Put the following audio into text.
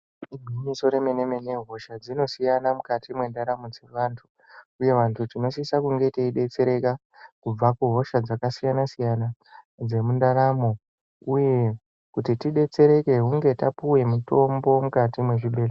Itori menemene hosha dzinosiyana mukati mwendaramo dzevanhu uye vandu tinosisa kunge teyibetsereka kubva kuhosha dzakasiyana siyana dzemundaramo uye kuti tibetsereke hunge tapiwe mutombo mukati muzvibhedhlera.